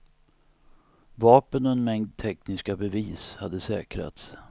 Vapen och en mängd tekniska bevis hade säkrats.